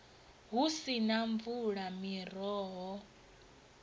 hu si na mvula miroho